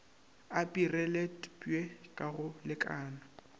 a pireletpwe ka go lekana